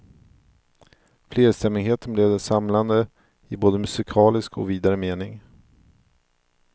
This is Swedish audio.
Flerstämmigheten blev det samlande i både musikalisk och vidare mening.